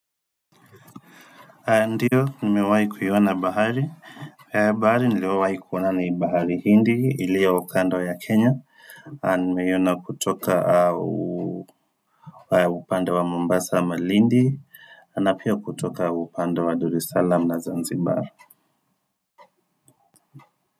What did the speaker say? Ndiyo nimewahi kuiona bahari, bahari niliyowahi kuona ni bahari hindi iliyo kando ya kenya nimeiyona kutoka upande wa mombasa malindi na piya kutoka upande wa dar salam na zanzibar.